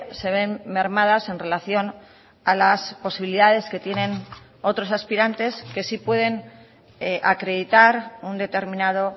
se ven mermadas en relación a las posibilidades que tienen otros aspirantes que sí pueden acreditar un determinado